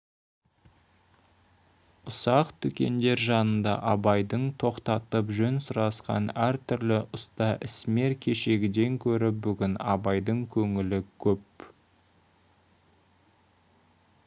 ұсақ дүкендер жанында абайды тоқтатып жөн сұрасқан әртүрлі ұста ісмер кешегіден гөрі бүгін абайдың көңілі көп